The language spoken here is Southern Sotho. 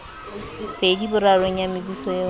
pedi borarong ya mebuso eo